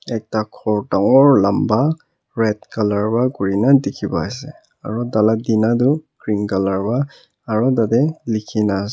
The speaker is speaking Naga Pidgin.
ekta ghor dangor lamba red colour wa kurina dikhi pai ase aru taila tina tu green colour wa aru tatey likhina ase.